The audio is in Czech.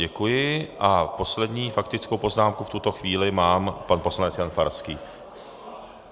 Děkuji a poslední faktickou poznámku v tuto chvíli má pan poslanec Jan Farský.